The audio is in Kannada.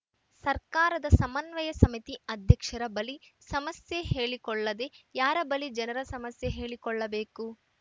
ಸರ್ಕಾರದ ಸಮನ್ವಯ ಸಮಿತಿ ಅಧ್ಯಕ್ಷರ ಬಳಿ ಸಮಸ್ಯೆ ಹೇಳಿಕೊಳ್ಳದೆ ಯಾರ ಬಳಿ ಜನರು ಸಮಸ್ಯೆ ಹೇಳಿಕೊಳ್ಳಬೇಕು